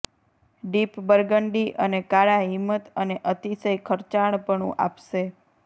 deep burgundy અને કાળા હિંમત અને અતિશય ખર્ચાળપણું આપશે